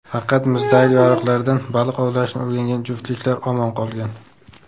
Faqat muzdagi yoriqlardan baliq ovlashni o‘rgangan juftliklar omon qolgan.